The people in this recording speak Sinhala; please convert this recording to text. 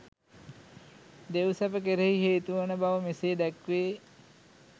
දෙව්සැප කෙරෙහි හේතුවන බව මෙසේ දැක්වේ.